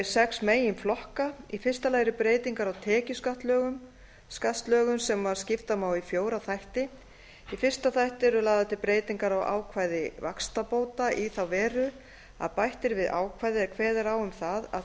sex meginflokka í fyrsta lagi eru breytingar á tekjuskattslögum sem skipta má í fjóra þætti í fyrsta þætti eru lagðar til breytingar á ákvæði vaxtabóta í þá veru að bætt er við ákvæði er kveðið er á um það að